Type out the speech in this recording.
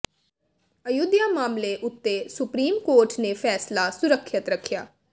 ਅਯੁੱਧਿਆ ਮਾਮਲੇ ਉਤੇ supreme court ਨੇ ਫੈਸਲਾ ਸੁਰੱਖਿਅਤ ਰੱਖਿਆ